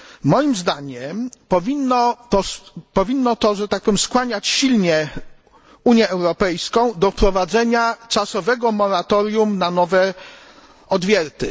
Moim zdaniem powinno to skłaniać silnie Unię Europejską do wprowadzenia czasowego moratorium na nowe odwierty.